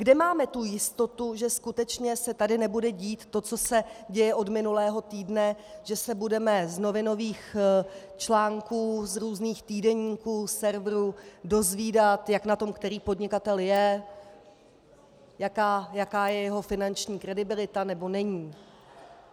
Kde máme tu jistotu, že skutečně se tady nebude dít to, co se děje od minulého týdne, že se budeme z novinových článků, z různých týdeníků, serverů, dozvídat, jak na tom který podnikatel je, jaká je jeho finanční kredibilita, nebo není?